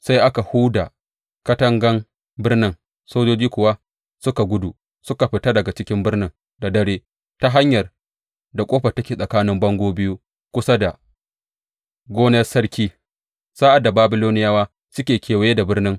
Sai aka huda katangan birnin, sojojin kuwa suka gudu, suka fita daga cikin birnin da dare ta hanyar ƙofar da take tsakanin bango biyu, kusa da gonar sarki, sa’ad da Babiloniyawa suke kewaye da birnin.